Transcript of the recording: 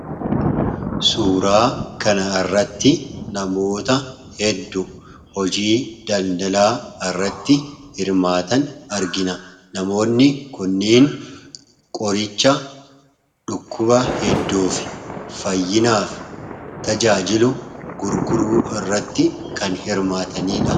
Suuraa kana irratti namoota hedduu hojii daldalaa irratti hirmaatan argina namoonni kunneen qoricha dhukkuba hedduuf, fayyinaaf tajaajilu gurguruu irratti kan hirmaataniidha.